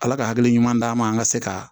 Ala ka hakili ɲuman d'an ma an ka se ka